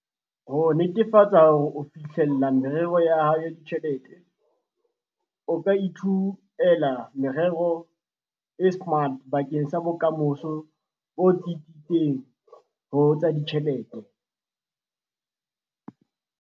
Ho netefatsa hore o fihlella merero ya hao ya ditjhelete, o ka ithuela merero e SMART bakeng sa bokamoso bo tsitsitseng ho tsa ditjhelete.